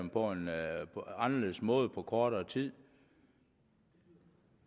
på en anderledes måde på kortere tid